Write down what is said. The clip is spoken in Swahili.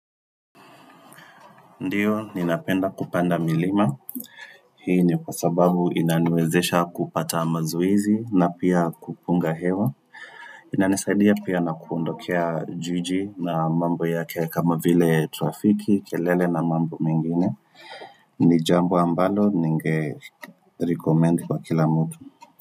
Ndio ninapenda kupanda milima hii ni kwa sababu inaniwezesha kupata mazoezi na pia kupunga hewa inanisaidia pia na kuondokea juji na mambo yake kama vile trafiki kelele na mambo mengine ni jambo ambalo ninge recommendi kwa kila mtu.